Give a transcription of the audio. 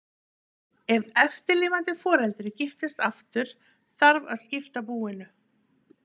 Ef eftirlifandi foreldrið giftist aftur þarf að skipta búinu.